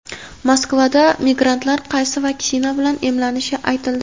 Moskvada migrantlar qaysi vaksina bilan emlanishi aytildi.